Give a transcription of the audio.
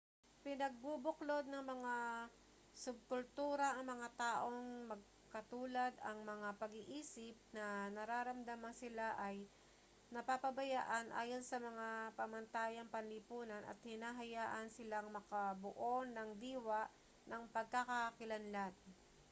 pinagbubuklod ng mga subkultura ang mga taong magkatulad ang mga pag-iisip na nararamdamang sila ay napapabayaan ayon sa mga pamantayang panlipunan at hinahayaan silang makabuo ng diwa ng pagkakakilanlan